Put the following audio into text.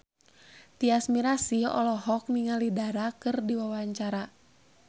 Tyas Mirasih olohok ningali Dara keur diwawancara